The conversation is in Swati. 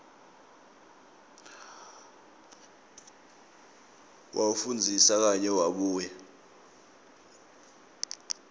wawufundzisisa kahle wabuye